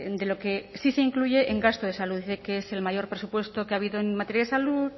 de lo que sí se incluye en gasto de salud que es el mayor presupuesto que ha habido en materia de salud